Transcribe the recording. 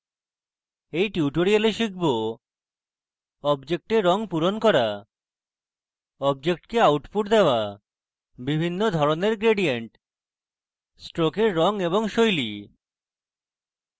in tutorial আমরা শিখব: